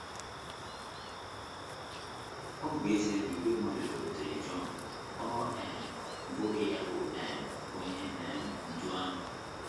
Ọ bụ ezie na ìgwè mmadụ bịakwutere Jọn, ọ um bụghị ya bụ um Onye um Ndú ahụ.